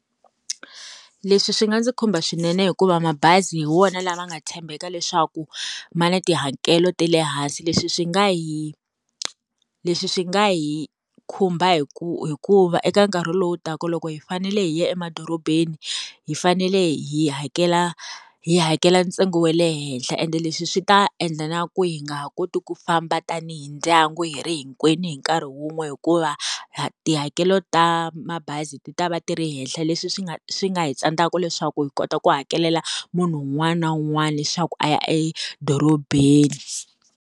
Leswi swi nga ndzi khumba swinene hikuva mabazi hi wona lama nga tshembeka leswaku ma na tihakelo ta le hansi leswi swi nga hi leswi swi nga hi khumba hikuva eka nkarhi lowu taka loko hi fanele hi ya emadorobeni hi fanele hi hakela hi hakela ntsengo wa le henhla ene leswi swi ta endla na ku hi nga ha koti ku famba tanihi ndyangu hi ri hinkwenu hi nkarhi wun'we hikuva tihakelo ta mabazi ti ta va ti ri henhla leswi swi nga swi nga hi tsandzaka leswaku hi kota ku hakelela munhu un'wana na un'wana leswaku a ya edorobeni.